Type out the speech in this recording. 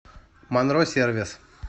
монро сервис